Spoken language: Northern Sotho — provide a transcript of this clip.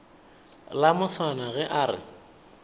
la moswana ge a re